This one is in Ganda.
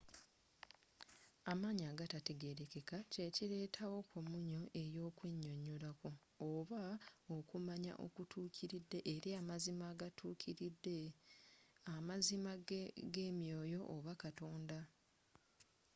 amaanyi agatategerekeka kyekireeta wo komunyo eyokwenyonyolako oba okumanya okutuukiride eri amazima agatuukiride amazima gemyoyo oba katonda